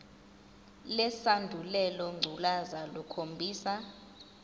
lesandulela ngculazi lukhombisa